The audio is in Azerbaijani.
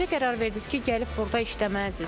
Necə qərar verdiniz ki, gəlib burda işləməlisiniz?